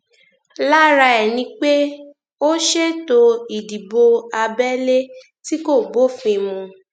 lára ẹ ni pé ó ṣètò ìdìbò abẹlé tí kò bófin mu